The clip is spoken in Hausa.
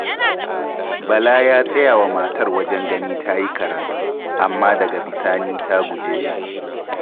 Bala ya tsaya wa matar wajen ganin ta yi karatu, amma daga bisani ta guje shi.